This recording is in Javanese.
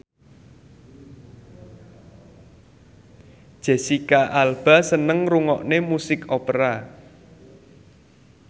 Jesicca Alba seneng ngrungokne musik opera